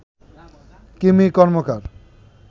Kimi Karmakar